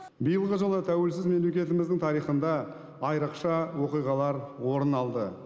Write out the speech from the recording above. биылғы жылы тәуелсіз мемлекетіміздің тарихында айрықша оқиғалар орын алды